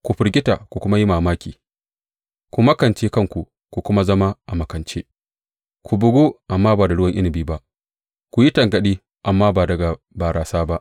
Ku firgita ku kuma yi mamaki, ku makance kanku ku kuma zama a makance; ku bugu, amma ba da ruwan inabi ba, ku yi tangaɗi, amma ba daga barasa ba.